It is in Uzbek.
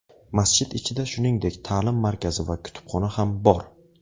Masjid ichida, shuningdek, ta’lim markazi va kutubxona ham bor.